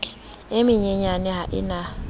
e menyenyane ha e na